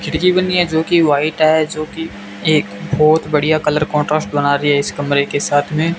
खिड़की बनी है जोकि व्हाइट है जोकि एक बहोत बढ़िया कलर कंट्रास्ट बना रही है इस कमरे के साथ में।